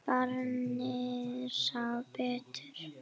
Barnið sá betur.